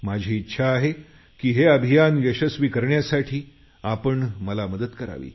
माझी अशी इच्छा आहे की हे अभियान यशस्वी करण्यासाठी आपण मला मदत करावी